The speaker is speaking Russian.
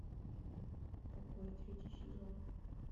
покой третий сезон